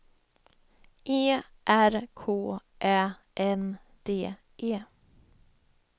E R K Ä N D E